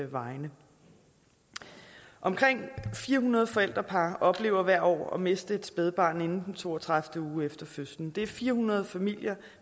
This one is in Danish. vegne omkring fire hundrede forældrepar oplever hvert år at miste et spædbarn inden den to og tredive uge efter fødslen det er fire hundrede familier